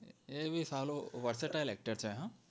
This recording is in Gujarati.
એ ભી સાલો versatile actor છે હા